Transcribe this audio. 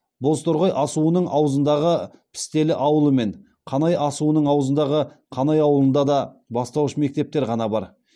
бозторғай асуының аузындағы пістелі ауылы мен қанай асуының аузындағы қанай ауылында бастауыш мектептер ғана бар